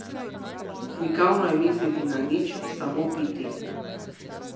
Mikavno je misliti na nič, samo biti.